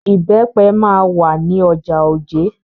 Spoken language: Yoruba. Ìbẹ́pẹ máa wà ní ọjà Ojé.